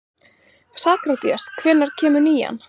Sakarías, hvenær kemur nían?